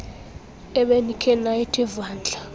ebenikhe nayithi vandla